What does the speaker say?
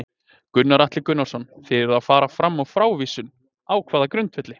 Gunnar Atli Gunnarsson: Þið eruð að fara fram á frávísun, á hvaða grundvelli?